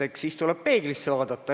Eks siis tuleb peeglisse vaadata.